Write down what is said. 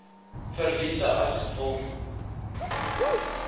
verliese as gevolg